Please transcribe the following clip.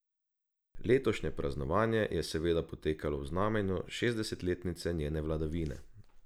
Letošnje praznovanje je seveda potekalo v znamenju šestdesetletnice njene vladavine.